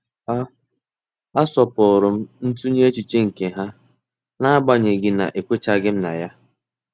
A asọpụrụm ntunye echiche nke ha n'agbanyeghị na ekwenyechaghim na ya.